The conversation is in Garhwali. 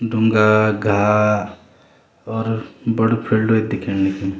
ढुंगा घा और बड़ू फील्ड दिखेंण लग्युं।